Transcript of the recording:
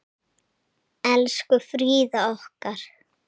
Elsku Fríða okkar.